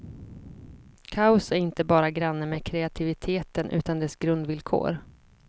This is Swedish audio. Kaos är inte bara granne med kreativiteten utan dess grundvillkor.